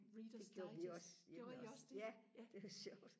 "Readers Sites" gjorde I også det ja